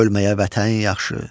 ölməyə vətən yaxşı.